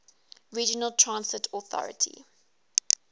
regional transit authority